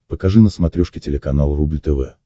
покажи на смотрешке телеканал рубль тв